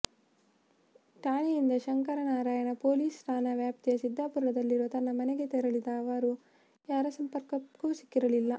ಠಾಣೆಯಿಂದ Shankaranarayana police ಠಾಣಾ ವ್ಯಾಪ್ತಿಯ ಸಿದ್ದಾಪುರದಲ್ಲಿರುವ ತನ್ನ ಮನೆಗೆ ತೆರಳಿದ ಅವರು ಯಾರ ಸಂಪರ್ಕಕ್ಕೂ ಸಿಕ್ಕಿರಲಿಲ್ಲ